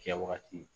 Kɛwagati